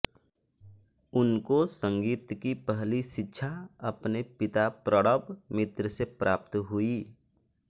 उनको संगीत की पहली शिक्षा अपने पिता प्रणब मित्र से प्राप्त हुई